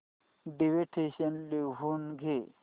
dictation लिहून घे